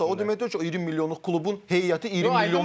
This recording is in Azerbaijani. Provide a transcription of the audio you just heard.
Ay sağ ol, o demək deyil ki, 20 milyonluq klubun heyəti 20 milyonluq.